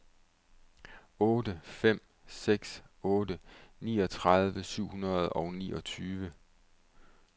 otte fem seks otte niogtredive syv hundrede og niogtyve